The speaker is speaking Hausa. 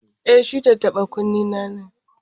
E, shi tattaɓa-kunnena ne.